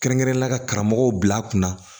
Kɛrɛnkɛrɛnnenya la ka karamɔgɔw bila a kunna